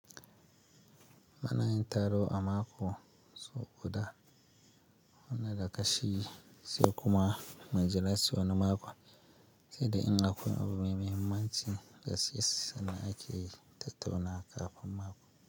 Munayin taro a mako, sau guda, wanda dagashi sai kuma mujira sai wani mako, sai da in akwai abu mai muhimmanci da gass ake tattaunawa kafin mako.